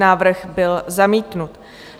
Návrh byl zamítnut.